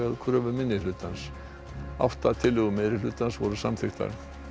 kröfu minnihlutans átta tillögur meirihlutans voru samþykktar